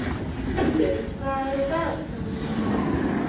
Gvöndur, hvað er á dagatalinu mínu í dag?